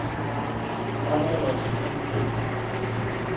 Helgi: Hvað er það sem stendur upp úr?